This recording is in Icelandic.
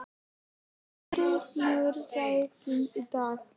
Náttúra, mun rigna í dag?